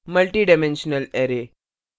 multidimensional array multidimensional array